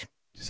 þá